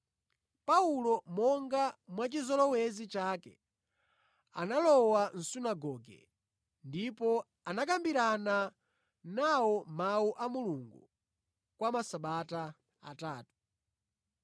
Paulo, monga mwachizolowezi chake, analowa mʼsunagoge, ndipo anakambirana nawo Mawu a Mulungu kwa masabata atatu,